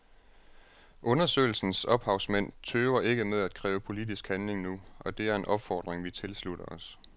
Undersøgelsens ophavsmænd tøver ikke med at kræve politisk handling nu, og det er en opfordring vi tilslutter os.